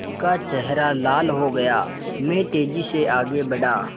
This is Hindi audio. उनका चेहरा लाल हो गया मैं तेज़ी से आगे बढ़ा